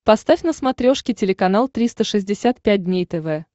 поставь на смотрешке телеканал триста шестьдесят пять дней тв